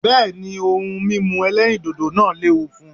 Bẹ́ẹ̀ ni, ohun mímú ẹlẹ́rìndiòdò náà lẹ́wu fún.